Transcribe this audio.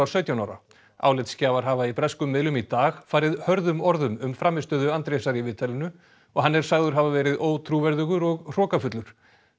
sautján ára álitsgjafar hafa í breskum miðlum í dag farið hörðum orðum um frammistöðu Andrésar í viðtalinu og hann er sagður hafa verið ótrúverðugur og hrokafullur